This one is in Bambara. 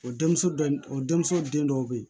O denmuso dɔ o denmuso den dɔw bɛ yen